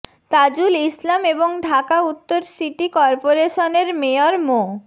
তাজুল ইসলাম এবং ঢাকা উত্তর সিটি করপোরেশনের মেয়র মো